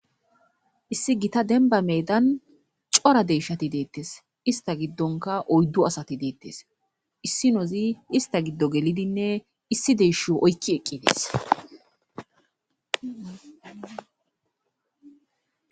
issi gita denba meedan cora deyshati deettes ista giddonka oyddu asati deettes issi nozi ista giddo gelidinne issi deshu oykki eqqi dees